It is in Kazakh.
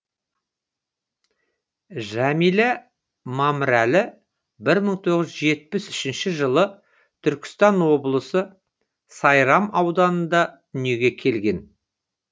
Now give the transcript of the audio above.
жәмила мамырәлі бір мың тоғыз жүз жетпіс үшінші жылы түркістан облысы сайрам ауданында дүниеге келген